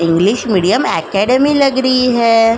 English medium academy लग रही है।